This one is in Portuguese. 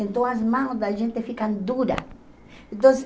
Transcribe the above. Então as mãos da gente ficam duras. Então